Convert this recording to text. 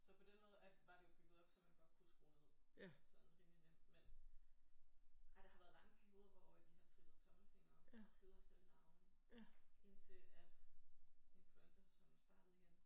Så på den måde er var det jo bygget op så man godt kunne skrue ned sådan rimelig nemt men nej der har været lange perioder hvor vi har trillet tommelfingre og kløet os selv i navlen indtil at influenzasæsonen startede igen